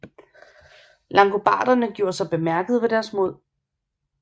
Langobarderne gjorde sig bemærkede ved deres mod